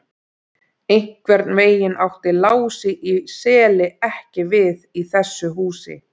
Einhvern veginn átti Lási í Seli ekki við í þessu húsi.